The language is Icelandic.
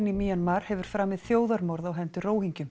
í Mjanmar hefur framið þjóðarmorð á hendur